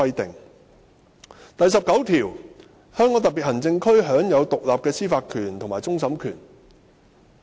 《基本法》第十九條列明"香港特別行政區享有獨立的司法權和終審權"。